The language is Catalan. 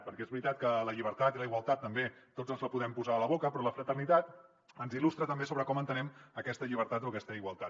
perquè és veritat que la llibertat i la igualtat també tots ens les podem posar a la boca però la fraternitat ens il·lustra també sobre com entenem aquesta llibertat o aquesta igualtat